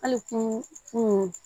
Hali kun